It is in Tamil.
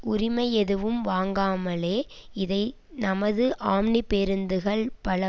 உரிமை எதுவும் வாங்காமலே இதை நமது ஆம்னி பேருந்துகள் பல